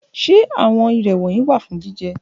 Ṣe lati jẹ ni awọn irè wọnyi?